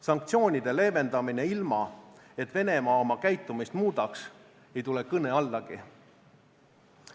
Sanktsioonide leevendamine ilma, et Venemaa oma käitumist muudaks, ei tule kõne allagi.